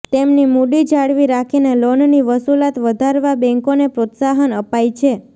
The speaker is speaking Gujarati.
તેમની મૂડી જાળવી રાખીને લોનની વસુલાત વધારવા બેન્કોને પ્રોત્સાહન અપાય છે